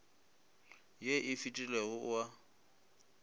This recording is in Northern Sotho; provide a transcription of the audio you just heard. ye e fetilego o a